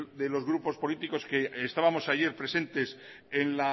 de los grupos políticos que estábamos ayer presentes en